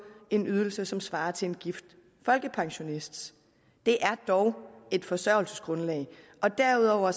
en ydelse som svarer til en gift folkepensionists det er dog et forsørgelsesgrundlag og derudover